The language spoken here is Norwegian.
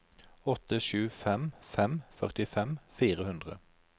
åtte sju fem fem førtifem fire hundre